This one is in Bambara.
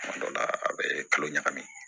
Kuma dɔ la a bɛ kalo ɲagami